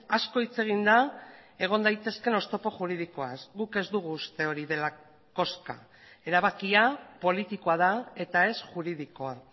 asko hitz egin da egon daitezkeen oztopo juridikoaz guk ez dugu uste hori dela koska erabakia politikoa da eta ez juridikoa